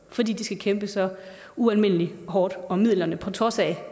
fordi de skal kæmpe så ualmindelig hårdt om midlerne på trods af